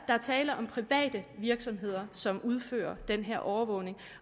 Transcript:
tale om private virksomheder som udfører den her overvågning